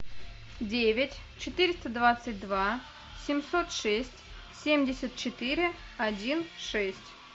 девять четыреста двадцать два семьсот шесть семьдесят четыре один шесть